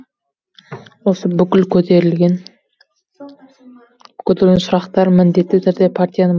осы бүкіл көтерілген сұрақтар міндетті түрде партияның